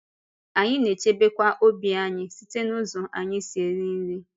Anyị na-echebekwa ọ̀bì anyị site n’ụzọ anyị si eri nri.